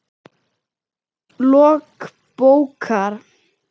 Lok bókar